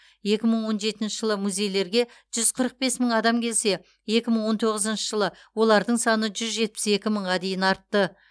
екі мың он жетінші жылы музейлерге жүз қырық бес мың адам келсе екі мың он тоғызыншы жылы олардың саны жүз жетпіс екі мыңға дейін артты